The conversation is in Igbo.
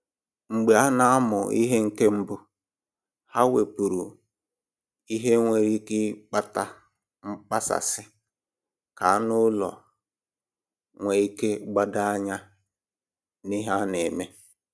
Mgbe a na-amụ ihe nke mbụ, ha wepụrụ ihe nwere ike ịkpata mkpasasị ka anụ ụlọ a nwee ike gbadoo anya n'ihe a na-eme